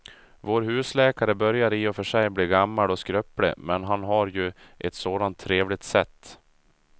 Vår husläkare börjar i och för sig bli gammal och skröplig, men han har ju ett sådant trevligt sätt!